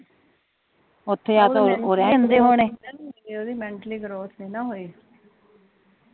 ਉਹਦੀ mentally growth ਨੀ ਨਾ ਹੋਈ